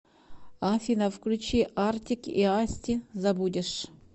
афина включи артик и асти забудешь